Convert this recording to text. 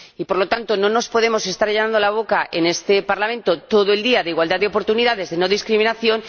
Por lo tanto, no nos podemos estar llenando la boca en este Parlamento todo el día con la igualdad de oportunidades, la no discriminación...